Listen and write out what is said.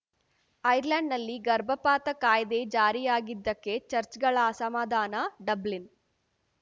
ಐರ್ಲೆಂಡ್‌ನಲ್ಲಿ ಗರ್ಭಪಾತ ಕಾಯ್ದೆ ಜಾರಿಯಾಗಿದ್ದಕ್ಕೆ ಚಚ್‌ರ್‍ಗಳ ಅಸಮಾಧಾನ ಡಬ್ಲಿನ್‌